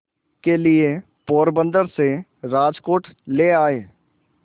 के लिए पोरबंदर से राजकोट ले आए